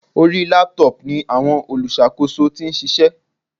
Orí Laptop ni àwọn olùṣàkóso tí ń ṣiṣẹ́.